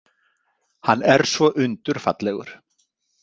Hann er svo undurfallegur.